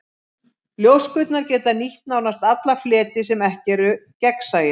Ljóskurnar geta nýtt nánast alla fleti sem ekki eru gegnsæir.